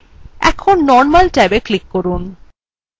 এখন normal ট্যাবএ click করুন